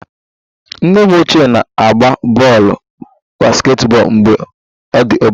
Nne m ochie na-agba bọọlụ basketball mgbe ọ dị obere